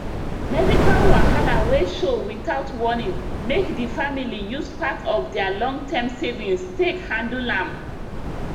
medical wahala wey show without warning make the family use part of their longterm savings take handle am